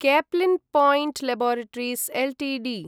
Caplin Point laboratories Ltd